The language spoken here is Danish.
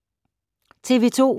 TV 2